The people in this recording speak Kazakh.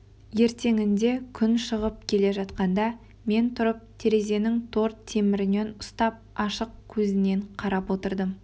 ертеңінде күн шығып келе жатқанда мен тұрып терезенің тор темірінен ұстап ашық көзінен қарап отырдым